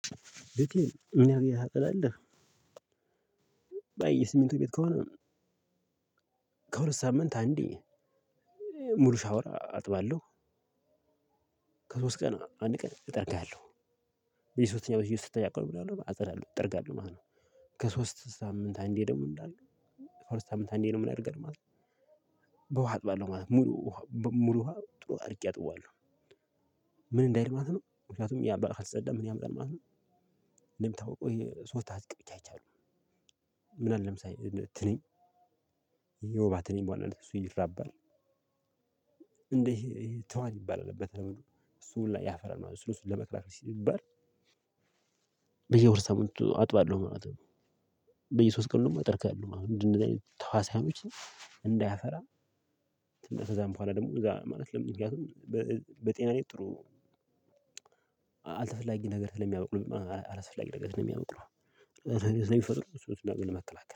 ምን ያህል ጊዜ ታጸዳለህ? የሲሚንቶ ቤት ከሆነ ከሁለት ሳምንት አንዴ ሙሉ ሻወር አጥባለሁ ከሶስት ቀን አንድ ቀን እጠርጋለሁ በየሶስተኛው በየሶስተኛው ቀን ምን እላለው አፀዳለው፤ እጠርጋለሁ ማለት ነው። ከሶስት ሳምንት አንዴ ደግሞ እንዳልኩ ሳምንት አንዴ ነው ምን አደርጋለው ማለት ነው በውሃ አጥባለሁ ማለት ነው። ሙሉ ሙሉ ውሃ ጥሩ አድርጌ አጥበዋለሁ ምን እንዳይል ማለት ነው ምክንያቱም ያ ካልተፀዳ ምን ያምጣል ማለት ነው እንደምታውቀው የሶስት አጥቂዎች አይቻሉም። ምን አለ ለምሳሌ ትንኝ የወባ ትንኝ በዋናነት እሱ ይራባል። እንዴ ትኋን ይባላል። እሱ ሁሉ ያፈራል ማለት ነው። እሱን እሱን ለመፍራት ሲባል በየወር ሳምንቱ አጥባለሁ ማለት ነው በየሶስት ቀን ደግሞ አጠርጋለው ማለት ነው እንደዚህ ተህዋሲያኖችን እንዳያፈራም ከዛም በኋላ ደግሞ እዛ ማለት ለምን ምክንያቱም በጤና ላይ ጥሩ አልተፈላጊ ነገር ስለሚያበቅሉ አላስፈላጊ ነገር ስለሚያበቅሉ ስለሚፈጥሩ እሱ እሱን ነገር ለመከላከል